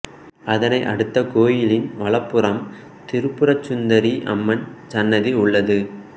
அதனை அடுதது கோயிலின் வலப்புறம் திரிபுரசுந்தரி அம்மன் சன்னதி உள்ளது